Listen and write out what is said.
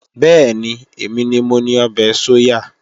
Bẹ́ẹ̀ni, èmi ni mo ni ọbẹ̀ sóyà